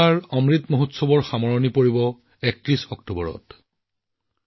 দেশজুৰি বিগত ডেৰদুবছৰ ধৰি চলি থকা আজাদী কা অমৃত মহোৎসৱৰ ৩১ অক্টোবৰত সামৰণি পৰিব